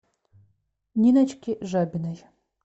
ниночке жабиной